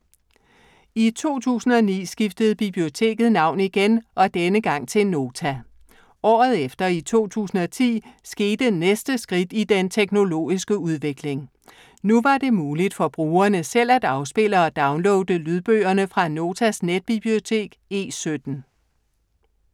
I 2009 skiftede biblioteket navn igen, denne gang til Nota. Året efter, i 2010, skete næste skridt i den teknologiske udvikling. Nu var det muligt for brugerne selv at afspille og downloade lydbøgerne fra Notas netbibliotek E17.